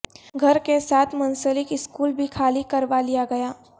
گھر کے ساتھ منسلک سکول بھی خالی کروا لیا گیا